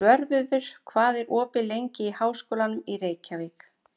Svörfuður, hvað er opið lengi í Háskólanum í Reykjavík?